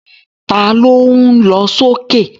Ta ló ń lọ sókè?